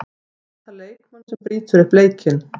Það vantar leikmann sem brýtur upp leikinn.